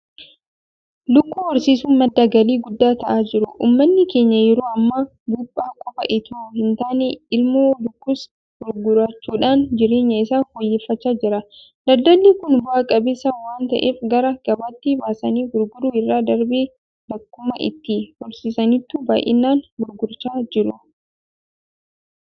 Lukkuu horsiisuun madda galii guddaa ta'aa jira. Uummanni keenya yeroo ammaa buuphaa qofa itoo hintaane ilmoo lukkuus gurgurachuudhaan jireenya isaa fooyyeffachaa jira. Daldalli kun bu'a qabeessa waanta'eef gara gabaatti baasanii gurguruu irra darbee bakkuma itti horsiisanittuu baay'inaan gurgurachaa jiru.